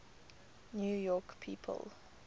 new york people